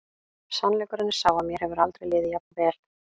Sannleikurinn er sá að mér hefur aldrei liðið jafn vel.